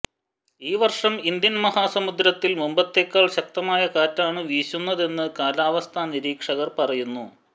ഈ വർഷം ഇന്ത്യൻ മഹാസമുദ്രത്തിൽ മുമ്പത്തേക്കാൾ ശക്തമായ കാറ്റാണ് വീശുന്നതെന്ന് കാലാവസ്ഥാ നിരീക്ഷകർ പറയുന്നു